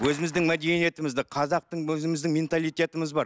өзіміздің мәдениетімізді қазақтың өзіміздің менталитетіміз бар